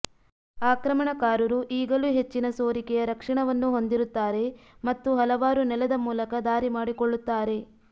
ಆಕ್ರಮಣಕಾರರು ಈಗಲೂ ಹೆಚ್ಚಿನ ಸೋರಿಕೆಯ ರಕ್ಷಣಾವನ್ನು ಹೊಂದಿರುತ್ತಾರೆ ಮತ್ತು ಹಲವಾರು ನೆಲದ ಮೂಲಕ ದಾರಿ ಮಾಡಿಕೊಳ್ಳುತ್ತಾರೆ